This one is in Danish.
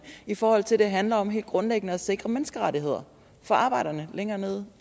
i forhold til at det handler om helt grundlæggende at sikre menneskerettigheder for arbejderne længere nede